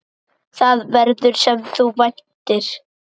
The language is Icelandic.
Það verður, sem þú væntir.